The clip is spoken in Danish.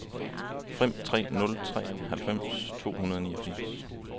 fem tre nul tre halvfems to hundrede og niogfirs